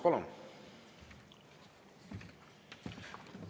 Palun!